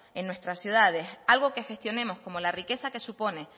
en nuestras ciudades algo que gestionemos como la riqueza que supone